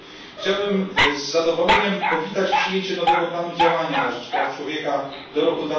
Chciałbym z zadowoleniem powitać przyjęcie nowego planu działania na rzecz praw człowieka do roku